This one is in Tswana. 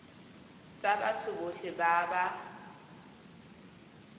tsa batho botlhe ba ba